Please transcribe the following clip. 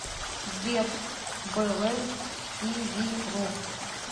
сбер бэлэнс ти ви ру